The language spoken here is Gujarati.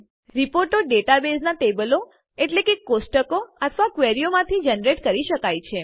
રિપોર્ટો ડેટાબેઝનાં ટેબલો કોષ્ટકો અથવા ક્વેરીઓ માંથી જનરેટ કરી શકાય છે